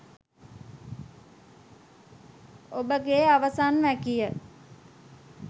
ඔබගේ අවසන් වැකිය